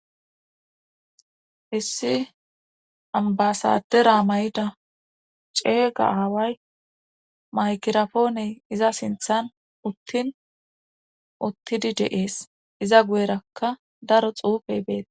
issi ambasadera may'ida ceega aaway maykirapooney iza sinthan uttin uttidi de7ees iza guyerakka daro xuufey beeta